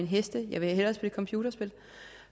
heste jeg vil hellere spille computerspil